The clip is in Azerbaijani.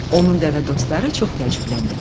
Onun dəvə dostları çox təəccübləndilər.